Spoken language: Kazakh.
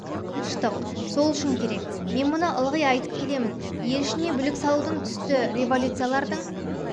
тыныштық сол үшін керек мен мұны ылғи айтып көлемін ел ішіне бүлік салудың түсті революциялардың